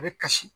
A bɛ kasi